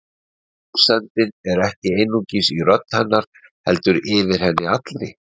Rósemdin er ekki einungis í rödd hennar heldur yfir henni allri.